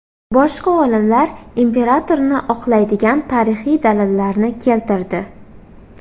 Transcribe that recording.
Boshqa olimlar imperatorni oqlaydigan tarixiy dalillarni keltirdi.